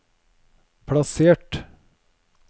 plassert